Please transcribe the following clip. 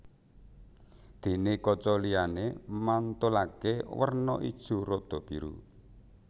Déné kaca liyané mantulaké werna ijo rada biru